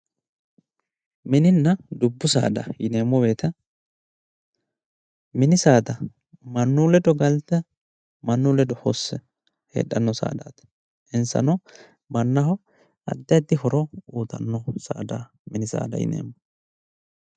mininna dubbu saada yineemmo wote mannu ledo galte mannu ledo hosse heedhanno saadaati insano mannaho addi addi uyiitanno saada mini saada yineemmo.